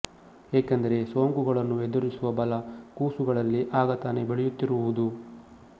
ಏಕೆಂದರೆ ಸೋಂಕುಗಳನ್ನು ಎದುರಿಸುವ ಬಲ ಕೂಸುಗಳಲ್ಲಿ ಆಗ ತಾನೇ ಬೆಳೆಯುತ್ತಿರುವುದು